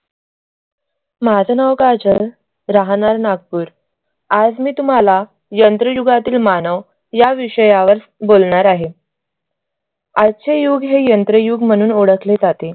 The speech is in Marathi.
माझं नाव काजल राहणार नागपूर आज मी तुम्हाला यंत्रयुगातील मानव या विषयावर बोलणार आहे. आजचे युग हे यंत्रयुग म्हणून ओळखले जाते.